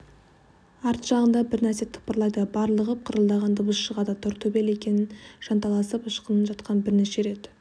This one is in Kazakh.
арт жағында бір нәрсе тыпырлайды барлығып қырылдаған дыбыс шығады тортөбел екен жанталасып ышқынып жатқан бірнеше рет